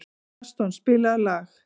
Gaston, spilaðu lag.